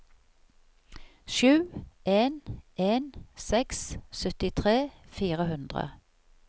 sju en en seks syttitre fire hundre